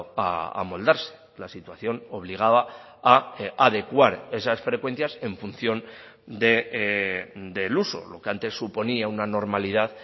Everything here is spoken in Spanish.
a amoldarse la situación obligaba a adecuar esas frecuencias en función de del uso lo que antes suponía una normalidad